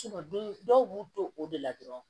dɔw b'u to o de la dɔrɔn